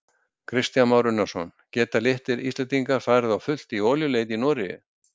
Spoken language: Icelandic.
Kristján Már Unnarsson: Geta litlir Íslendingar farið á fullt í olíuleit í Noregi?